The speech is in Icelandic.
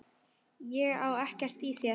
Ég á ekkert í þér!